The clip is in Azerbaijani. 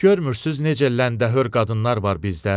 Görmürsüz necə ləndəhör qadınlar var bizdə?